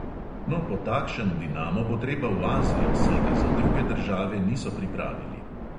No, po takšen dinamo bo treba v azijo, saj ga za druge države niso pripravili.